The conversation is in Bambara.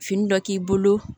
Fini dɔ k'i bolo